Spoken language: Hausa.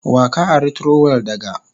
Wa ka ari trowel daga?